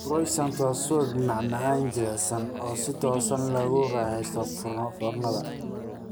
Croissants waa subag, macmacaan jilicsan oo si toos ah loogu raaxaysto foornada.